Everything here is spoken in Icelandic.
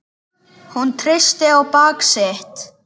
Hún treysti á bak sitt.